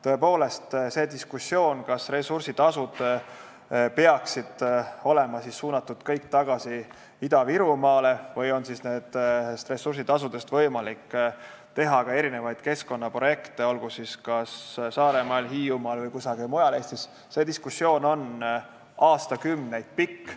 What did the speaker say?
Tõepoolest, diskussioon, kas ressursitasud peaksid olema suunatud kõik tagasi Ida-Virumaale või on nendest võimalik rahastada ka keskkonnaprojekte, olgu siis kas Saaremaal, Hiiumaal või kusagil mujal Eestis, on aastakümneid pikk.